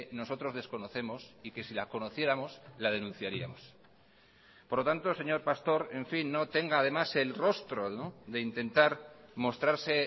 nosotros desconocemos y que si la conociéramos la denunciaríamos por lo tanto señor pastor en fin no tenga además el rostro de intentar mostrarse